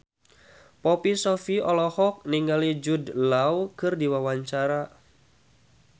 Poppy Sovia olohok ningali Jude Law keur diwawancara